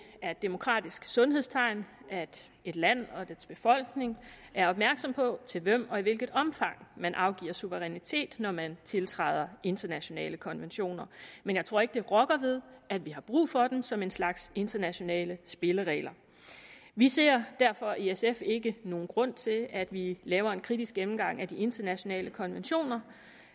er et demokratisk sundhedstegn at et land og dets befolkning er opmærksomme på til hvem og i hvilket omfang man afgiver suverænitet når man tiltræder internationale konventioner men jeg tror ikke det rokker ved at vi har brug for dem som en slags internationale spilleregler vi ser derfor i sf ikke nogen grund til at vi laver en kritisk gennemgang af de internationale konventioner